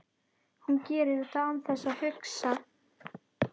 Hún gerir þetta án þess að hugsa.